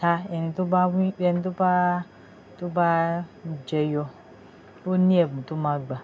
ta ẹni tó bá wín, ẹni tó bá, tó bá jẹyọ ò ní ẹbun tó máa gbà.